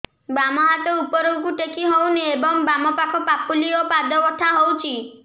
ବାମ ହାତ ଉପରକୁ ଟେକି ହଉନି ଏବଂ ବାମ ପାଖ ପାପୁଲି ଓ ପାଦ ବଥା ହଉଚି